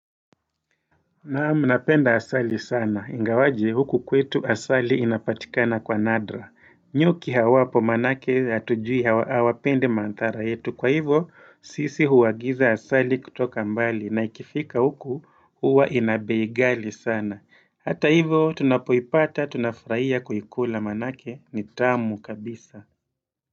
Naam napenda asali sana. Ingawaje huku kwetu asali inapatikana kwa nadra. Nyuki hawapo manake hatujui hawapende mandari yetu. Kwa hivyo sisi huwagiza asali kutoka mbali na ikifika huku huwa ina bei ghali sana. Hata hivyo tunapoyipata tunafurahia kuikula manake nitamu kabisa.